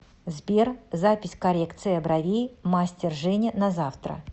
сбер запись коррекция бровей мастер женя на завтра